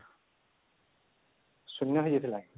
ଶୂନ ହେଇଯାଇଥିଲା